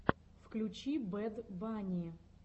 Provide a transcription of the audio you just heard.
включи бэд банни